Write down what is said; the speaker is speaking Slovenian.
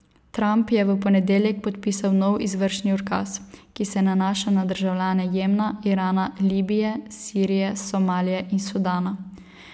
Trump je v ponedeljek podpisal nov izvršni ukaz, ki se nanaša na državljane Jemna, Irana, Libije, Sirije, Somalije in Sudana.